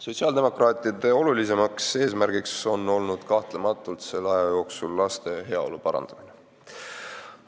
Sotsiaaldemokraatide kõige olulisem eesmärk on selle aja jooksul kahtlematult olnud laste heaolu parandamine.